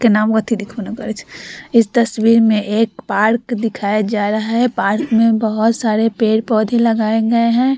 इस तस्वीर मे पार्क दिखाया जा रहा है पार्क में बहुत सारे पेड़-पौधे लगाए गए है।